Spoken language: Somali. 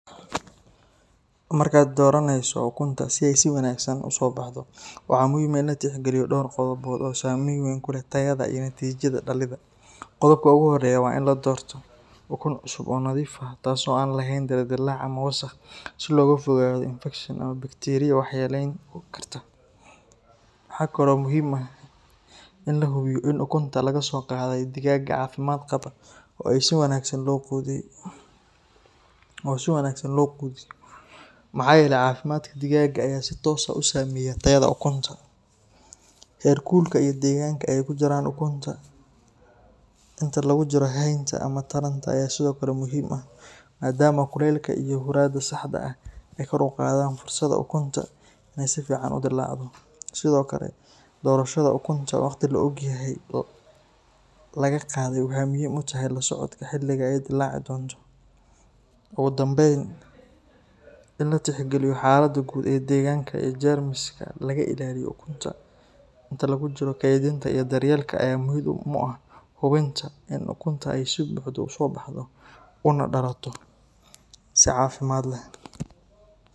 Markaad dooranayso ukunta si ay si wanaagsan u soo baxdo, waxaa muhiim ah in la tixgeliyo dhowr qodob oo saameyn weyn ku leh tayada iyo natiijada dhalidda. Qodobka ugu horeeya waa in la doorto ukun cusub oo nadiif ah, taasoo aan lahayn dildilaac ama wasakh, si looga fogaado infakshan ama bakteeriya waxyeeleyn karta. Waxaa kale oo muhiim ah in la hubiyo in ukunta laga soo qaaday digaag caafimaad qaba oo si wanaagsan loo quudiyo, maxaa yeelay caafimaadka digaaga ayaa si toos ah u saameeya tayada ukunta. Heerkulka iyo deegaanka ay ku jiraan ukunta inta lagu jiro haynta ama taranta ayaa sidoo kale muhiim ah, maadaama kulaylka iyo huurada saxda ah ay kor u qaadaan fursada ukunta inay si fiican u dillaacdo. Sidoo kale, doorashada ukunta waqti la og yahay laga qaaday waxay muhiim u tahay la socodka xilliga ay dillaaci doonto. Ugu dambeyn, in la tixgeliyo xaaladda guud ee deegaanka iyo jeermiska laga ilaaliyo ukunta inta lagu jiro kaydinta iyo daryeelka ayaa muhiim u ah hubinta in ukunta ay si buuxda u soo baxdo una dhalato si caafimaad leh